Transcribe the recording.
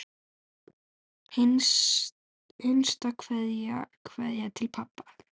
HINSTA KVEÐJA Kveðja til pabba.